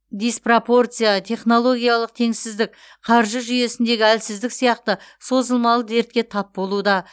диспропорция технологиялық теңсіздік қаржы жүйесіндегі әлсіздік сияқты созылмалы дертке тап болуда